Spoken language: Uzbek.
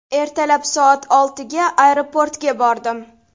Ertalab soat oltiga aeroportga bordim.